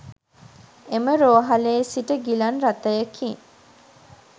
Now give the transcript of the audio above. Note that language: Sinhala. එම රෝහ‍ලේ සිට ගිලන් රථයකින්